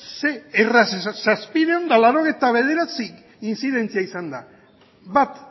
ze erraz zazpiehun eta laurogeita bederatzi intzidentzia izan dira bat